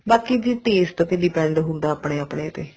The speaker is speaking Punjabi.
ਬਾਕੀ ਦੀ taste ਤੇ depend ਹੁੰਦਾ ਆਪਣੇ ਆਪਣੇ ਤੇ